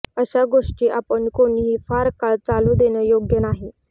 अशा गोष्टी आपण कोणीही फार काळ चालू देणं योग्य नाही